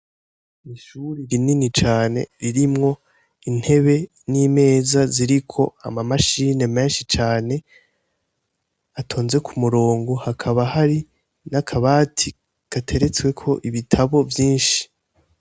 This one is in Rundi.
Ishuri rinini cane ririmwo intebe n'imeza ziriko ama mashine menshi cane atonze ku murongo, hakaba hari n'akabati gateretsweko ibitabo vyinshi.